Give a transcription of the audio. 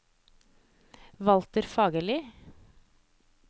Walter Fagerli